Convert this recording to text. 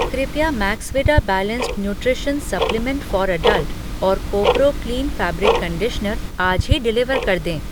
कृपया Maxvida balanced nutrition supplement for adult और कोपरो क्लीन फ़ैब्रिक कंडीशनर आज ही डिलीवर कर दें।